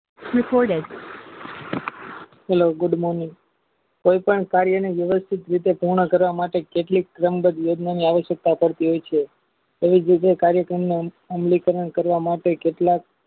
hello good morning કોઈ પણ સાલીની વ્યવસ્થિત રીતે પૂર્ણ કરવા માટે કેટલીક વહેમદત યોજનાની આયોજકતા કરતી હશે તેવી જ રીતે કાર્યક્રમની અંતિકારણ કરવા માટે કેટલાક